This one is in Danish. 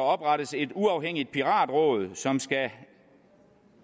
oprettes et uafhængigt piratråd som skal